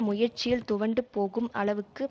முயற்சியில் துவண்டு போகும் அளவுக்கு